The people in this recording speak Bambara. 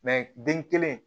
den kelen